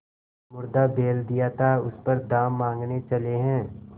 मुर्दा बैल दिया था उस पर दाम माँगने चले हैं